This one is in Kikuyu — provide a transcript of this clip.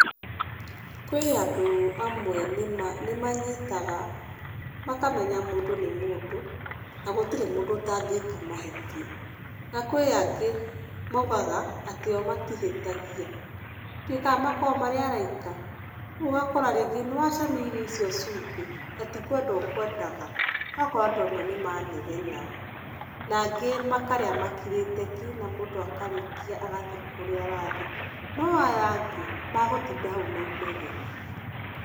Kwĩ andũ amwe nĩ manyitaga, makamenya mũndũ nĩ mũndũ, na gũtirĩ mũndũ ũtangĩka mahĩtia. Na kwĩ angĩ maugaga atĩ o matihĩtagia. Ndiuĩ kana makoragwo marĩ araika? Rĩu ũgakora rĩngĩ nĩwacamia irio icio cumbĩ, na ti kwenda ũkwendaga, ũgakora andũ amwe nĩ manegena. Na angĩ makarĩa makirĩte ki na mũndũ akarĩkia agathiĩ kũrĩa arathiĩ. No aya angĩ, magũtinda hau na inegene.